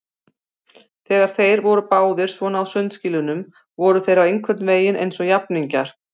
Þegar þeir voru báðir svona á sundskýlunum voru þeir einhvern veginn eins og jafningjar.